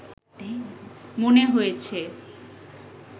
মনে হয়েছে